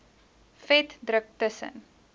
vet druk tussen